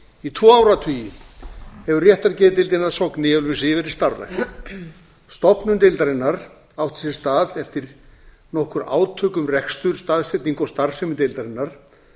í tvo áratugi hefur réttargeðdeildin að sogni í ölfusi verið starfrækt stofnun deildarinnar átti sér stað eftir nokkur átök um rekstur staðsetningu og starfsemi deildarinnar